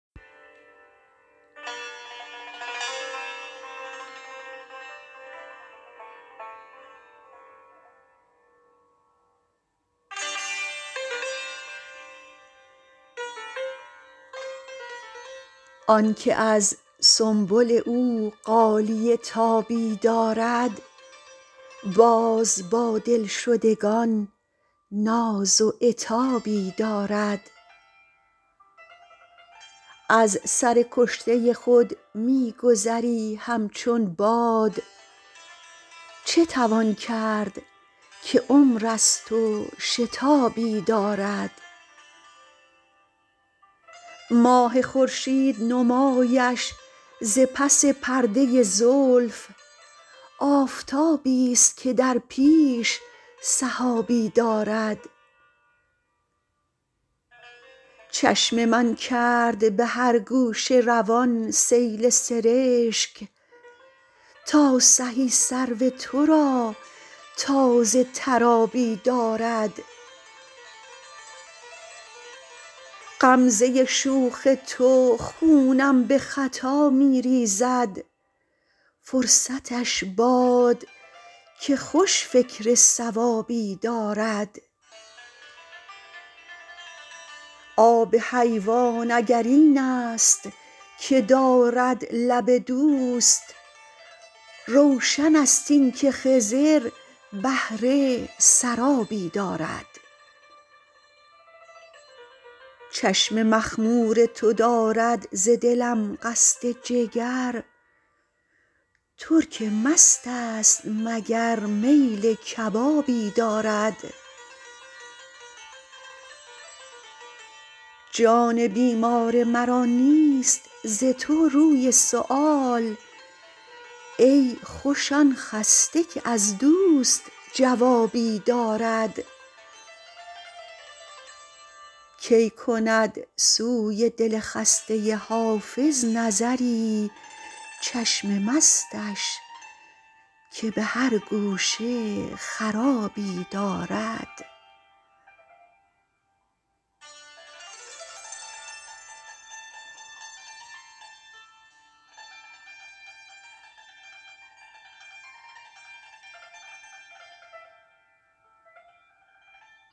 آن که از سنبل او غالیه تابی دارد باز با دلشدگان ناز و عتابی دارد از سر کشته خود می گذری همچون باد چه توان کرد که عمر است و شتابی دارد ماه خورشید نمایش ز پس پرده زلف آفتابیست که در پیش سحابی دارد چشم من کرد به هر گوشه روان سیل سرشک تا سهی سرو تو را تازه تر آبی دارد غمزه شوخ تو خونم به خطا می ریزد فرصتش باد که خوش فکر صوابی دارد آب حیوان اگر این است که دارد لب دوست روشن است این که خضر بهره سرابی دارد چشم مخمور تو دارد ز دلم قصد جگر ترک مست است مگر میل کبابی دارد جان بیمار مرا نیست ز تو روی سؤال ای خوش آن خسته که از دوست جوابی دارد کی کند سوی دل خسته حافظ نظری چشم مستش که به هر گوشه خرابی دارد